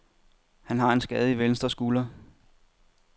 Han har en skade i venstre skulder.